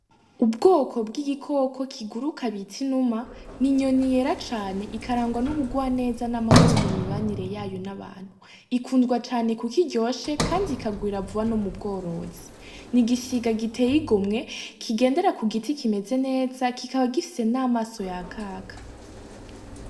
Ubwoko bw'igikoko kiguruka bits inuma , ni inyoni yera cane ikarangwa n'ubugwa neza n'amahoro mu mibanire yayo n'abantu , ikunzwa cane ku kiryoshe, kandi ikagwira vuba no mu bworozi, ni igisiga giteye igomwe kigendera ku giti kimeze neza kikaba gifise n'amaso ya kaka.